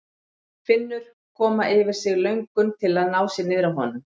Finnur koma yfir sig löngun til að ná sér niðri á honum.